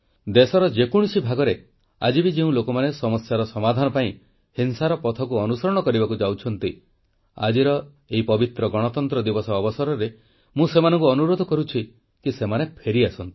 ଦେଶର ଯେକୌଣସି ଭାଗରେ ଆଜି ବି ଯେଉଁ ଲୋକମାନେ ସମସ୍ୟାର ସମାଧାନ ପାଇଁ ହିଂସାର ପଥକୁ ଅନୁସରଣ କରିବାକୁ ଯାଉଛନ୍ତି ଆଜିର ଏଇ ପବିତ୍ର ଗଣତନ୍ତ୍ର ଦିବସ ଅବସରରେ ମୁଁ ସେମାନଙ୍କୁ ଅନୁରୋଧ କରୁଛି କି ସେମାନେ ଫେରିଆସନ୍ତୁ